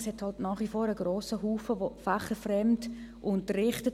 Es hat nach wie vor einen grossen Haufen, der fächerfremd unterrichtet.